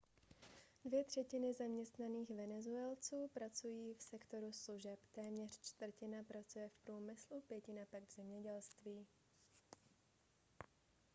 dvě třetiny zaměstnaných venezuelců pracují v sektoru služeb téměř čtvrtina pracuje v průmyslu pětina pak v zemědělství